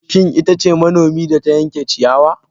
Shin ita ce manomi da ta yanke ciyawa?